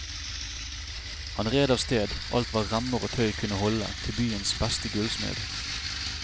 Han red av sted alt hva remmer og tøy kunne holde til byens beste gullsmed.